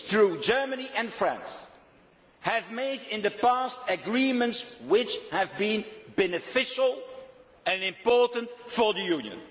It is true that Germany and France have, in the past, made agreements which have been beneficial and important for the Union